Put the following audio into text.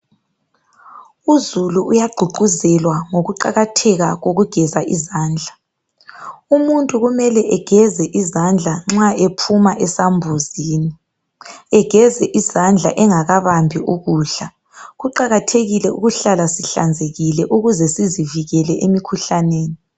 Uzulu uyagqugquzelwa ngokuqakatheka kokugeza izandla umuntu kumele ageze izandla nxa ephuma esambuzini egeze izandla engakabambi ukudla kuqakathekile ukuhlala sihlanzekile ukuze sizivikele emikhuhlaneni.